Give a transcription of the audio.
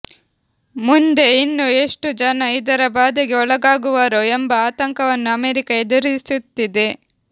ಮುಂದೆ ಇನ್ನೂ ಎಷ್ಟು ಜನ ಇದರ ಬಾಧೆಗೆ ಒಳಗಾಗುವರೋ ಎಂಬ ಆತಂಕವನ್ನು ಅಮೆರಿಕ ಎದುರಿಸುತ್ತಿದೆ